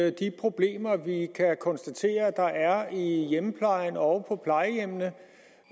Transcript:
at de problemer vi kan konstatere der er i hjemmeplejen og på plejehjemmene